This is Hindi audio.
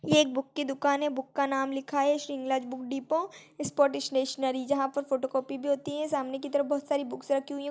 ये एक बुक की दुकान है बुक का नाम लिखा है शृंगलाज बुक डिपो इस पो डिस-- स्टेशनरी जहाँ पर फोटोकॉपी भी होती है सामने की तरफ बहुत सारी बुक्स राखी हुई हैं।